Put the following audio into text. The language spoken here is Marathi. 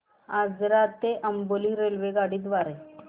आजरा ते अंबोली रेल्वेगाडी द्वारे